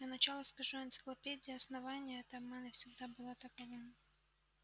для начала скажу энциклопедия основания это обман и всегда была таковым